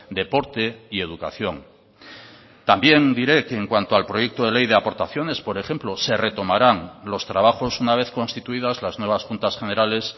deporte y educación también diré que en cuanto al proyecto de ley de aportaciones por ejemplo se retomarán los trabajos una vez constituidas las nuevas juntas generales